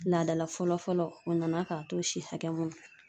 Laadala fɔlɔ fɔlɔ, o nana ka to si hakɛ mun .